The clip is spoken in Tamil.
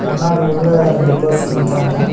முன்னாடி உள்ள ரெண்டு பர்சன் நிக்கிறாங்க.